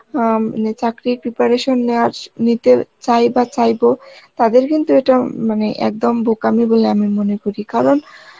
অ্যাঁ মানে চাকরির preparation নেওয়া স~ নিতে চাই বা চাইবো তাদের কিন্তু এটা উম মানে একদম বোকামি বলে আমি মনে করি কারণ